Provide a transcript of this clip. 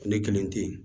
Ne kelen tɛ yen